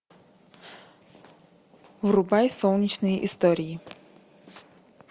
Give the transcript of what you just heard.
врубай солнечные истории